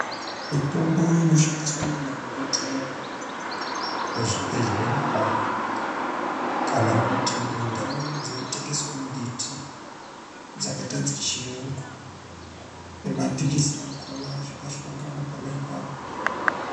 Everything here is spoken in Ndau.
Mitombo inoshandiswa nemadhokoteya muzvibhedhleya kana kuti mindau dzinotengeswe mumbiti dzakaita dzechiyungu nemaphilizi akona zvakahlongana pona ipapo.